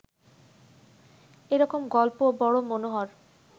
এ রকম গল্প বড় মনোহর